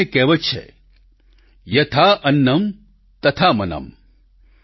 આપણે ત્યાં એક કહેવત છે યથા અન્નમ તથા મનમ